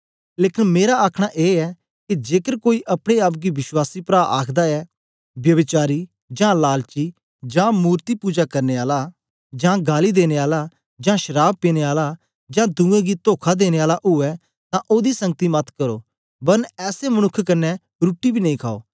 लेकन मेरा आखना ए ऐ के जेकर कोई अपने आप गी विश्वासी प्रा आखदा ऐ व्यभिचारी जां लालची जां मूर्ति पूजाकरने आला जां गालीं देने आला जां शराव पीने आला जां दुए गी तोखा देने आला उवै तां ओदी संगति मत करो वरन ऐसे मनुक्ख कन्ने रुट्टी बी नेई खाओ